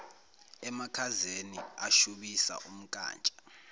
emakhazeni ashubisa umkantsha